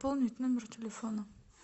пополнить номер телефона